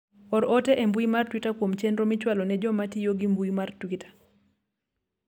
or ote e mbui mar twita kuom chenro michwalo ne jomatiyo gi mbui mar twita